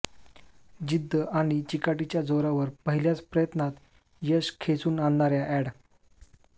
जिद्द आणि चिकाटीच्या जोरावर पहिल्याच प्रयत्नात यश खेचून आणणाऱ्या अॅड